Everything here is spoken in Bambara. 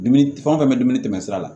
Dumuni fɛn wo fɛn bɛ dumuni tɛmɛ sira la